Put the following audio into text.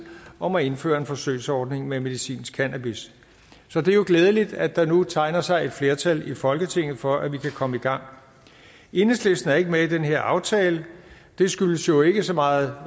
om at indføre en forsøgsordning med medicinsk cannabis så det er jo glædeligt at der nu tegner sig et flertal i folketinget for at vi kan komme i gang enhedslisten er ikke med den her aftale det skyldes jo ikke så meget